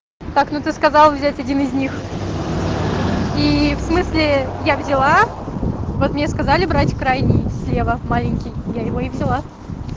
так ну ты сказал взять один из них и в смысле я взяла вот мне сказали брать крайние слева маленький я его и взяла